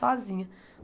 Sozinha.